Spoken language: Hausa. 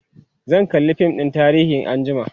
zan kalla fim ɗin tarihi anjima